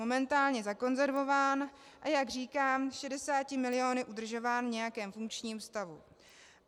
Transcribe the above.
Momentálně zakonzervován, a jak říkám, 60 miliony udržován v nějakém funkčním stavu.